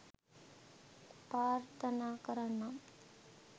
ප්‍රාර්ථනා කරන්නම්.